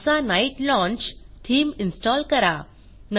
NASA night launch theme install करा